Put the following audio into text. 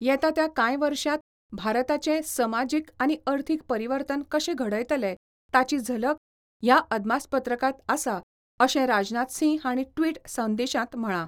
येता त्या कांय वर्षांत भारताचें समाजीक आनी अर्थीक परिवर्तन कशें घडयतले ताची झलक ह्या अदमासपत्रकांत आसा अशें राजनाथ सिंह हांणी ट्विट संदेशांत म्हळां.